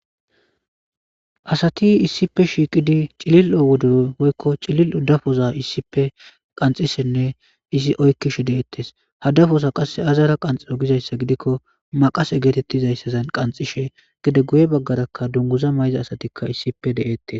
asati issipe shiiqidi cilil7o wodo woykko cilil odafoza issippe qanxishenne izi oykkish de7ettes hadafoza qasse azara qanxio gizayssa gidikko maqase geetettizayssazan qanxishe gede guye baggaraka dunguza mayza asatikka issipe deettes